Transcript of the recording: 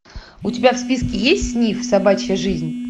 у тебя в списке есть сниф собачья жизнь